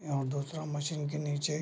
यहाँ दूसरा मशीन के नीचे --